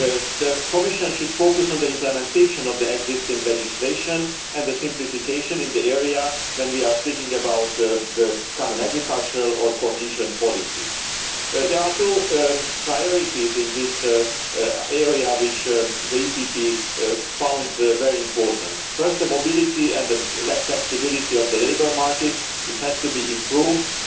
The Commission should focus on the implementation of the existing legislation and a simplification in the area when we are speaking about the common agricultural or cohesion policy. There are two priorities in this area which the EPP found very important firstly, the mobility and the flexibility of the labour market has to be improved and